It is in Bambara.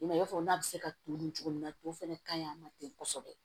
I m'a ye i b'a fɔ n'a bɛ se ka to dun cogo min na to fɛnɛ ka ɲi a ma ten kosɛbɛ